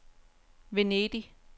Venedig